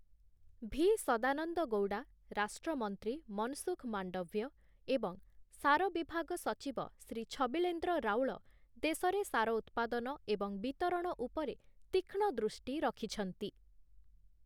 ଭି ସଦାନନ୍ଦ ଗୌଡ଼ା, ରାଷ୍ଟ୍ରମନ୍ତ୍ରୀ ମନସୁଖ ମାଣ୍ଡଭ୍ୟ ଏବଂ ସାର ବିଭାଗ ସଚିବ ଶ୍ରୀ ଛବିଳେନ୍ଦ୍ର ରାଉଳ, ଦେଶରେ ସାର ଉତ୍ପାଦନ ଏବଂ ବିତରଣ ଉପରେ ତୀକ୍ଷ୍ଣ ଦୃଷ୍ଟି ରଖିଛନ୍ତି ।